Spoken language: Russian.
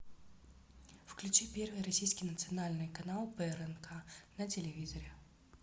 включи первый российский национальный канал прнк на телевизоре